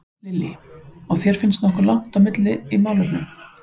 Lillý: Og þér finnst nokkuð langt á milli í málefnunum?